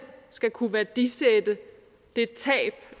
skal kunne værdisætte det tab